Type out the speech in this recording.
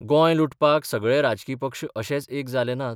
गोंय 'लुटपाक सगळे राजकी पक्ष अशेच एक जाले नात?